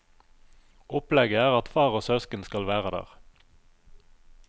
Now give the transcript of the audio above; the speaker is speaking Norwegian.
Opplegget er at far og søsken skal være der.